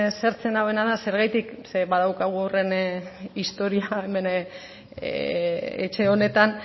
haserretzen nauena da zergatik zeren badaukagu horren historia bat hemen etxe honetan